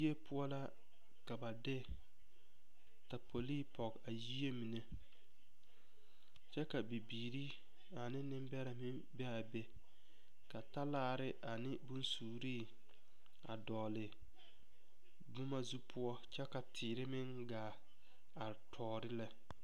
Yie poɔ la ka ba de taapolii pɔge yie mine kyɛ ka bibiiri ane nembɛrɛ be a be ka talaare ane bonsuuri a dɔgle boma zu poɔ kyɛ ka teere meŋ gaa are tɔɔre lɛ.